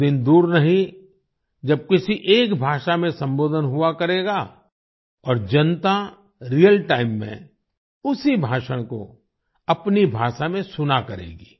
वो दिन दूर नहीं जब किसी एक भाषा में संबोधन हुआ करेगा और जनता रियल टाइम में उसी भाषण को अपनी भाषा में सुना करेगी